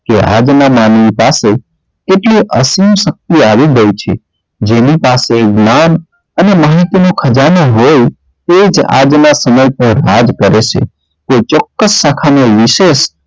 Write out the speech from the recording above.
આજ નાં માનવી પાસે કેટલું આસીન શક્તિ આવી ગઈ છે જેની પાસે જ્ઞાન અને માલિકી નો ખજાનો હોય તે જ આગ ના પર વાર કરે છે તે ચોક્કસ શાખા ના વિશેષ